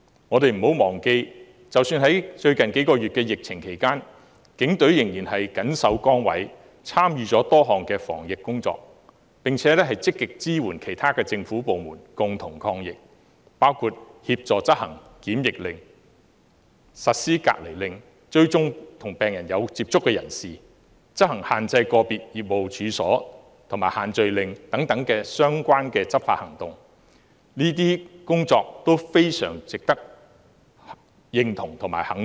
我們不要忘記，即使在最近數月的疫情期間，警隊仍然謹守崗位，參與多項防疫工作，並且積極支援其他政府部門，共同抗疫，包括協助執行檢疫令，實施隔離令，追蹤與病人有接觸的人士，執行限制個別業務處所，以及限聚令等相關執法行動，這些工作都非常值得認同和肯定。